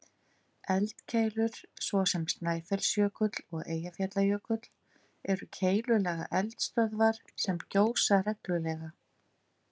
Eldkeilur, svo sem Snæfellsjökull og Eyjafjallajökull, eru keilulaga eldstöðvar sem gjósa reglulega.